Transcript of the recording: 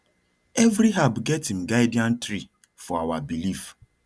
every herb get im guardian tree for our belief